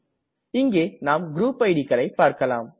இங்கே நாம் குரூப் idக்களை பார்க்களாம்